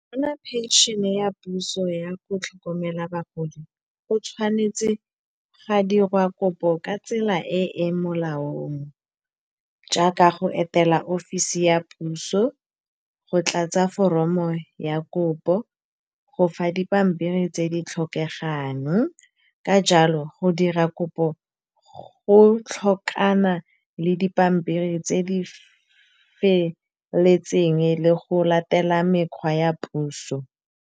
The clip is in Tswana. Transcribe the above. Go bona phenšhene ya puso ya go tlhokomela bagodi, go tshwanetse ga dirwa kopo ka tsela e e molaong. Jaaka go etela offisi ya puso, go tlatsa foromo ya kopo, go fa dipampiri tse di tlhokegang. Ka jalo go dira kopo go tlhokana le dipampiri tse di feletseng, le go latela mekgwa ya puso.